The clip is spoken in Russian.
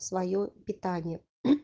своё питание